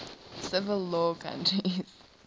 civil law countries